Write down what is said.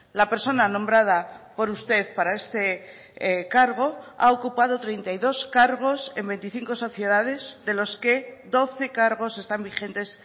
la persona nombrada por usted para este cargo ha ocupado treinta y dos cargos en veinticinco sociedades de los que doce cargos están vigentes